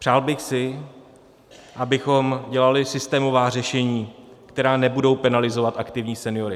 Přál bych si, abychom dělali systémová řešení, která nebudou penalizovat aktivní seniory.